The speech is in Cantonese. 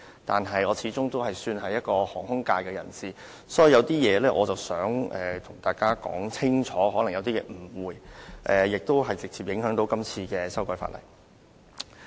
不過，我始終是屬於航空界的人士，所以有些誤會想跟大家解釋清楚，而這亦會直接影響這次法例修訂工作。